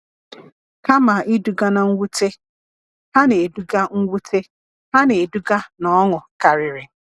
Kama iduga na mwute, ha na-eduga mwute, ha na-eduga na ọṅụ karịrị.